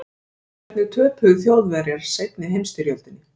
Hvernig töpuðu Þjóðverjar seinni heimsstyrjöldinni?